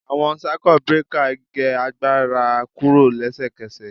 Awọn Circuit breaker ge agbara kuro lesekese